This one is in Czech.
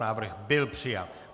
Návrh byl přijat.